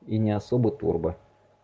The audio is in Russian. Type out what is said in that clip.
и не особо турбо